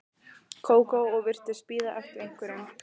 Kókó og virtist bíða eftir einhverjum.